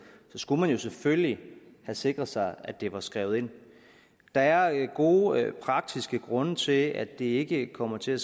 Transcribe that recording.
så skulle man jo selvfølgelig have sikret sig at det var skrevet ind der er gode praktiske grunde til at det ikke kommer til at